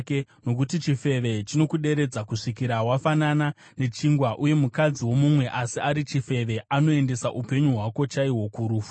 nokuti chifeve chinokuderedza kusvikira wafanana nechingwa, uye mukadzi womumwe asi ari chifeve anoendesa upenyu hwako chaihwo kurufu.